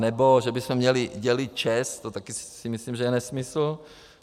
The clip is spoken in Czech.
Anebo že bychom měli dělit ČEZ - to také si myslím, že je nesmysl.